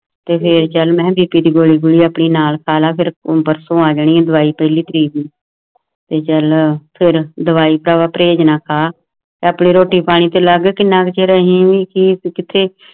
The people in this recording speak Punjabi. ਤੇ ਫੇਰ ਜਦ ਮੈਂ ਵੀ ਤੇਰੀ ਗੋਰੀ ਗੁਜਰੀ ਨਾਲ ਕਾਲਾ ਪਾਰਸੁ ਆ ਜਾਣੀ ਹੈ ਦਵਾਈ ਪਹਿਲੀ ਤਾਰੀਖ ਦੀ ਸਿਜਲਰ ਢੋਆ-ਢੁਆਈ ਟਰੈਕਟਰ ਟੋਚਨਾ ਕੈਂਪ ਦੀ ਰੋਟੀ ਪਾਣੀ ਤੇ ਲੈ ਘਟੀਆ ਜਹੇ ਰਹਿਣ ਦੀ ਅਪੀਲ ਕੀਤੀ